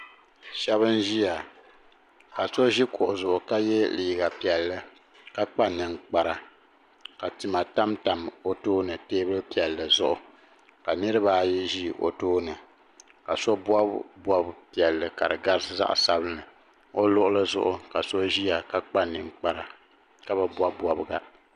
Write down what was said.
Sheba n ʒia ka so ʒi kuɣu zuɣu ka ye liiga piɛlli ka kpa ninkpara ka tima tam tam o tooni teebuli piɛlli zuɣu ka niriba ayi ʒi o tooni ka so bobi bob'piɛli ka di garisi zaɣa sabinli o luɣuli zuɣu ka so ʒia ka kpa ninkpara ka bi bobi bobga.